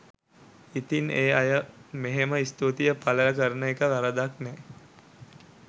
ඉතිං ඒ අය මෙහෙම ස්තුතිය පළ කරන එක වරදක් නෑ